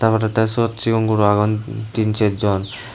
olody siot seon guro agon tin ser jon.